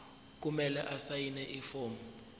kumele asayine ifomu